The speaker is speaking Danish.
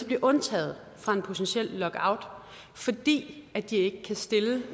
blive undtaget fra en potentiel lockout fordi de ikke kan stille